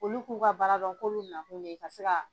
Olu k'u ka baara dɔn kolu na kun ye ka se ka.